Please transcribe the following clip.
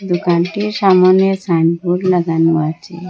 দোকানটির সামোনে সাইনবোর্ড লাগানো আছে।